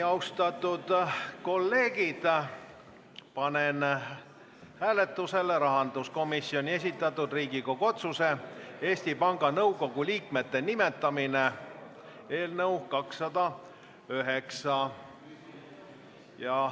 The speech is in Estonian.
Austatud kolleegid, panen hääletusele rahanduskomisjoni esitatud Riigikogu otsuse "Eesti Panga Nõukogu liikmete nimetamine" eelnõu 209.